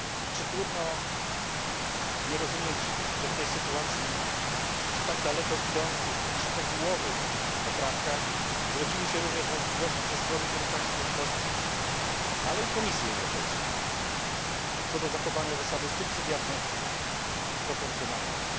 Czy trudno nie rozumieć, że w tej sytuacji, przy tak daleko idących i szczegółowych poprawkach, zrodziły się również wątpliwości ze strony wielu państw członkowskich, ale i Komisji Europejskiej, co do zachowania zasady subsydiarności i proporcjonalności?